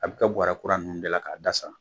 A bɛ kɛ buwrɛ kuran ninnu dala k'a da sa.